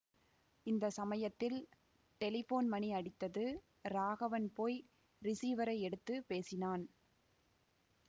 இந்த சமயத்தில் டெலிபோன் மணி அடித்தது ராகவன் போய் ரிஸீவரை எடுத்து பேசினான்